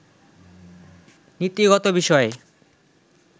নীতিগত বিষয়ে